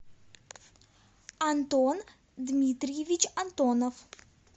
антон дмитриевич антонов